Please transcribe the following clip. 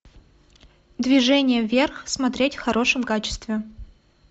движение вверх смотреть в хорошем качестве